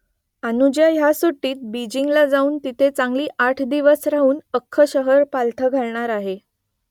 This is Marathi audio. अनुजा ह्या सुट्टीत बीजिंगला जाऊन तिथे चांगली आठ दिवस राहून अख्खं शहर पालथं घालणार आहे